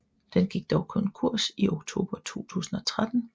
Den gik dog konkurs i oktober 2013